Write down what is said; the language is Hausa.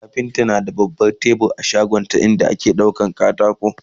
kafinta na da baban tebur a shagonshi inda ake daura katako